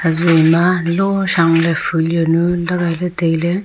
hazu ma ki sau le phulio nu lagai le taile.